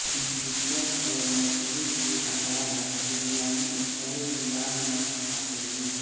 chicken और मछली के अलावा सीरियाई ईसाई भी लाल मांस खाते हैं